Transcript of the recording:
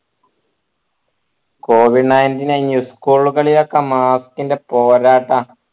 covid ninteen school കളിലൊക്കെ mask ൻ്റെ പോരാട്ട